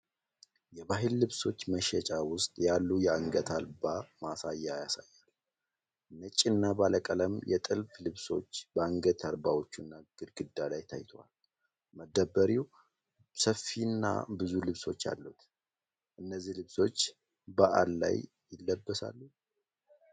የባህል ልብሶች መሸጫ ውስጥ ያሉ የአንገት አልባ (mannequins) ማሳያ ያሳያል። ነጭና ባለቀለም የጥልፍ ልብሶች በአንገት አልባዎቹና ግድግዳ ላይ ታይተዋል። መደብሩ ሰፊና ብዙ ልብሶች አሉት። እነዚህ ልብሶች በዓል ላይ ይለበሳሉ?